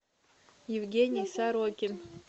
евгений сорокин